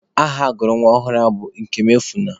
Aha agụrụ nwa ọhụrụ ahụ Ikemuefuna.